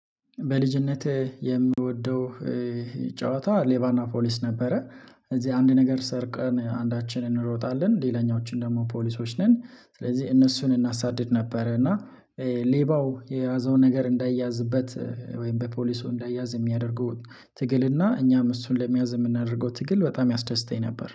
በልጅነት የምወደው ጨዋታ ሌባና ፖሊስ ነበረ። እዚህ አንድ ነገር ሰርቀን አንዳችን እንሮጣለን ሌላኛዎችን ደግሞ ፖሊሶች ነን ስለዚህ እነሱን እናሳድድ ነበር። እና ሌባው የያዘውን ነገር እንዳይያዝበት ወይም በፖሊሱ እንዳይያዝ የሚያደርገው ትግል እና እኛም እሱን ለመያዝ የምናደርገው ትግል በጣም ያስደስተኝ ነበር